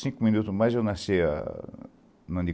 Cinco minutos mais eu nasci no ano de...